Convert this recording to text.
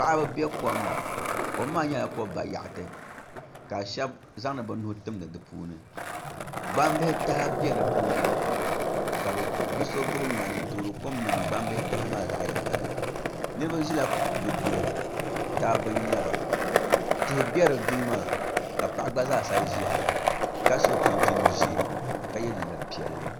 Paɣaba bɛ kom ni kom maa nyɛla ko bayaɣati ka shab zaŋdi bi nuu timdi di puuni gbambihi taha bɛ di puuni ka so gbubi ŋmani n toori kom niŋdi gbambihi taha maa zaɣ yinga ni niraba ʒila di duli dabba n nyɛba tihi bɛ di duli maa ka paɣa gba zaa sa ʒiya ka so chinchin ʒiɛ ka yɛ liiga piɛlli